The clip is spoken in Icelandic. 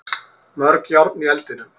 Mörg járn í eldinum